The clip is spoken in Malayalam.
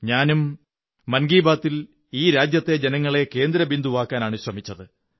ഞാനും മൻ കീ ബാത് ൽ ഈ രാജ്യത്തെ ജനങ്ങളെ കേന്ദ്രബിന്ദുവാക്കാനാണു ശ്രമിച്ചത്